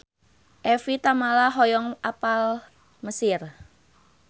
Evie Tamala hoyong apal Mesir